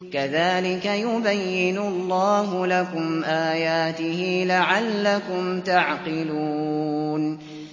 كَذَٰلِكَ يُبَيِّنُ اللَّهُ لَكُمْ آيَاتِهِ لَعَلَّكُمْ تَعْقِلُونَ